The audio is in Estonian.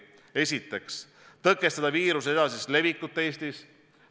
Esiteks, tõkestada viiruse edasist levikut Eestis.